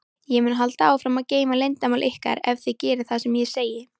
Ég mun halda áfram að geyma leyndarmál ykkar ef þið gerið það sem ég segi.